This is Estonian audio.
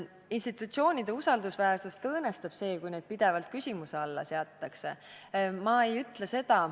Institutsioonide usaldusväärsust õõnestab see, kui neid pidevalt küsimuse alla seatakse.